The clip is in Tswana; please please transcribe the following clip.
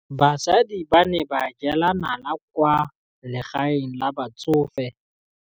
Basadi ba ne ba jela nala kwaa legaeng la batsofe.